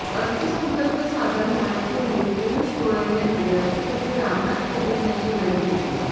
अर्थसंकल्प सादर होण्यापूर्वी पियूष गोयल यांनी राष्ट्रपती रामनाथ कोविंद यांची भेट घेतली